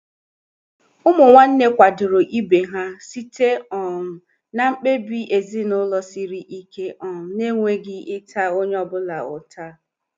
Ụmụ nwanne kwadoro ibe ha site um na mkpebi ezinụlọ siri ike um na-enweghị ịta onye ọ bụla ụta.